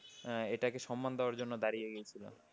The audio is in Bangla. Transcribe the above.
এটাকে সম্মান দেওয়ার জন্য দাঁড়িয়ে গিয়েছিল।